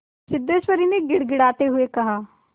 सिद्धेश्वरी ने गिड़गिड़ाते हुए कहा